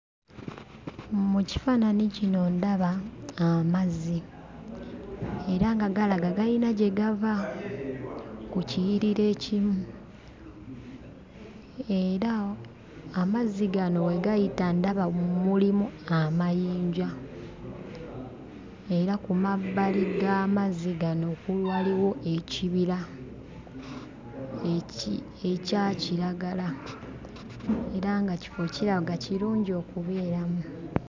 Mu kifaananyi kino ndaba amazzi era nga galaga gayina gye gava ku kiyiriro ekimu, era amazzi gano we gayita ndaba mulimu amayinja, era ku mabbali g'amazzi gano waliwo ekibira ekya kiragala era nga kifo kiraga kirungi okubeeramu.